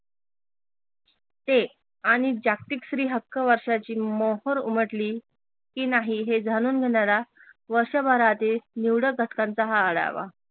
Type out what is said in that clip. ते आणि जागतिक स्त्री हक्क वर्षाची मोहोर उमटली की नाही हे जाणून घेणारा वर्षभरातील निवडक घटकांचा हा आढावा